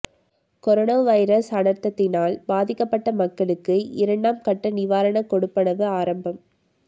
corona virus அனர்த்தத்தினால் பாதிக்கப்பட்ட மக்களுக்கு இரண்டாம் கட்ட நிவாரண கொடுப்பனவு ஆரம்பம்